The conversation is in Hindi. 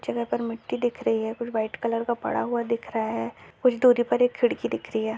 ज्यादा तर मिट्टी दिख रही है कुछ व्हाइट कलर का पड़ा हुआ दिख रहा है कुछ दूरी पर एक खिड़की दिख रही है।